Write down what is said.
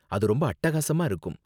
அது ரொம்ப அட்டகாசமா இருக்கும்.